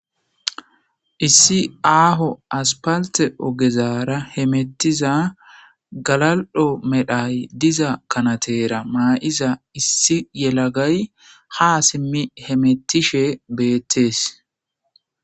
issi aaho aspalte ogezaara hemettiza galal'o medhay diza kanateera maa'iza issi yelagay ha simmi hemettishe beettees